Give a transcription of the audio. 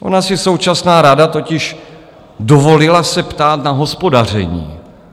Ona si současná rada totiž dovolila se ptát na hospodaření.